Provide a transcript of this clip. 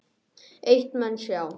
Eitt menn sjá